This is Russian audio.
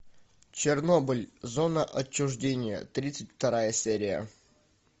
чернобыль зона отчуждения тридцать вторая серия